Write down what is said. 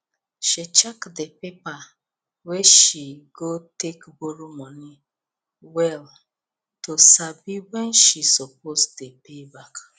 she check the the paper wey she go take borrow money well to sabi when she suppose dey pay back